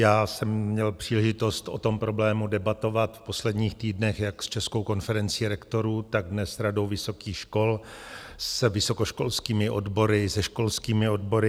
Já jsem měl příležitost o tom problému debatovat v posledních týdnech jak s Českou konferencí rektorů, tak dnes s Radou vysokých škol, s vysokoškolskými odbory, se školskými odbory.